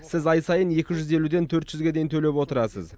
сіз ай сайын екі жүз елуден төрт жүзге дейін төлеп отырасыз